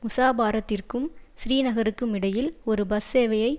முஸாபாரத்திற்கும் ஸ்ரீநகருக்குமிடையில் ஒரு பஸ் சேவையை